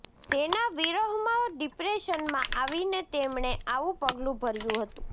તેના વિરહમા ડિપ્રેશનમાં આવીને તેમણે આવુ પગલુ ભર્યું હતું